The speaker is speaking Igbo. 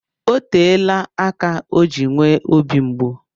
Oteela aka o ji nwee obi mgbu.